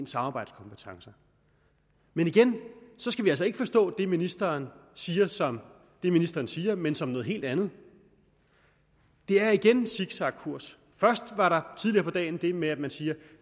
samarbejdskompetencer men igen skal vi altså ikke forstå det ministeren siger som det ministeren siger men som noget helt andet det er igen en zigzagkurs først var der tidligere på dagen det med at man siger at